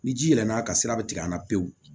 Ni ji yɛlɛ na ka sira bɛ tigɛ an na pewu